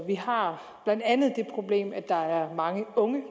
vi har blandt andet det problem at der er mange unge